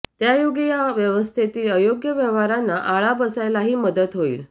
त्यायोगे या व्यवस्थेतील अयोग्य व्यवहारांना आळा बसायलाही मदत होईल